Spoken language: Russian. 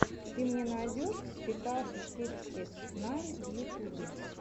ты мне найдешь текаши сиксти найн в ютубе